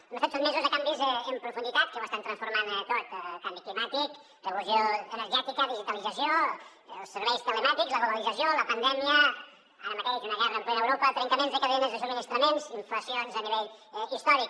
hem estat sotmesos a canvis en profunditat que ho estan transformant tot canvi climàtic revolució energètica digitalització els serveis telemàtics la globalització la pandèmia ara mateix una guerra en plena europa trencaments de cadenes de subministraments inflacions a nivell històric